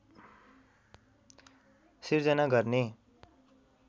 सिर्जना गर्ने